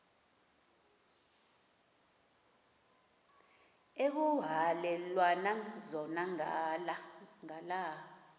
ekuhhalelwana zona ngala